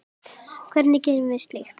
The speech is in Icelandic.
Hvernig gerum við slíkt?